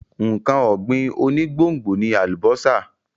Nǹkan ọ̀gbìn onígbòǹgbò ni àlùbọ́sà.